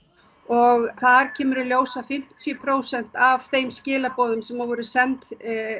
og þar kemur í ljós að fimmtíu prósent af þeim skilaboðum sem voru send